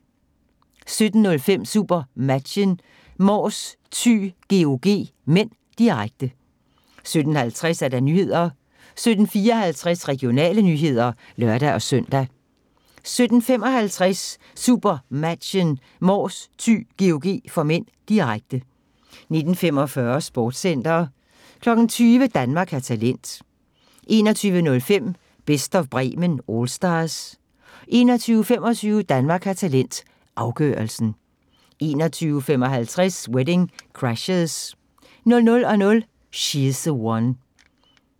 17:05: SuperMatchen: Mors/Thy-GOG (m), direkte 17:50: Nyhederne 17:54: Regionale nyheder (lør-søn) 17:55: SuperMatchen: Mors/Thy-GOG (m), direkte 19:45: Sportscenter 20:00: Danmark har talent 21:05: Best of Bremen Allstars 21:25: Danmark har talent – afgørelsen 21:55: Wedding Crashers 00:00: She's the One